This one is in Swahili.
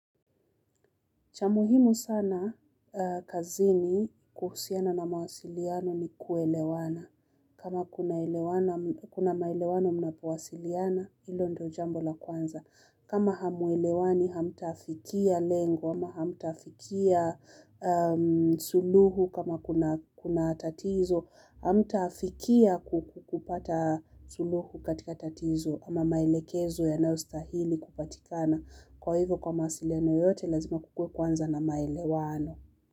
Cha muhimu sana kazini kuhusiana na mawasiliano ni kuelewana. Kama kuna maelewano mnapowasiliana, hilo ndio jambo la kwanza. Kama hamuelewani, hamtafikia lengo, ama hamtafikia suluhu kama kuna tatizo, hamtafikia kukupata suluhu katika tatizo ama maelekezo yanayostahili kupatikana. Kwa hivyo kwa mawasiliano yoyote, lazima kukuwe kwanza na maelewano.